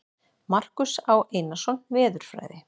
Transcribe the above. Markús Á. Einarsson, Veðurfræði.